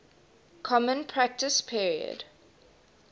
common practice period